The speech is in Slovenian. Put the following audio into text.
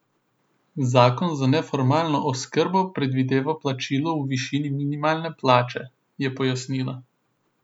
Zakon za neformalno oskrbo predvideva plačilo v višini minimalne plače, je pojasnila.